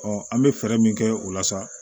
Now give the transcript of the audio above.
an bɛ fɛɛrɛ min kɛ o la sa